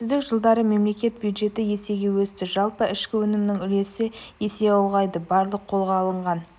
тәуелсіздік жылдары мемлекет бюджеті есеге өсті жалпы ішкі өнімнің үлесі есе ұлғайды барлық қолға алынған